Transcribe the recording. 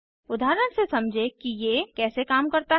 उदाहरण से समझें कि ये कैसे काम करता है